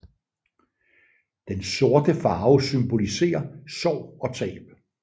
Den sorte farve symboliserer sorg og tab